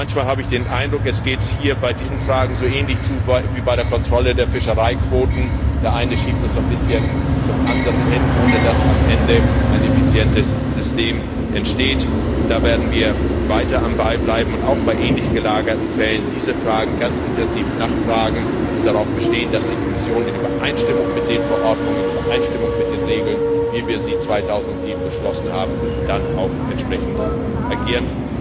Manchmal habe ich den Eindruck, dass es bei diesen Fragen so ähnlich zugeht wie bei der Kontrolle der Fischereiquoten Der eine schiebt es ein bisschen zum anderen hin, ohne dass am Ende ein effizientes System entsteht. Da werden wir weiter am Ball bleiben und auch bei ähnlich gelagerten Fällen diesen Fragen ganz intensiv nachgehen und darauf bestehen, dass die Kommission in Übereinstimmung mit den Verordnungen und Regeln, wie wir sie 2007 beschlossen haben, dann auch entsprechend agiert.